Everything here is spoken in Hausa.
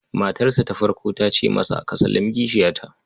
Matarsa ta farko ta ce masa, "Ka sallami kishiyata".